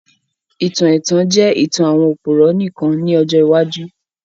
Ìtàn ètàn jẹ ìtàn àwon òpùrọ́ nìkan ni ọjọ́ iwájú